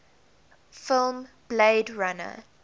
film blade runner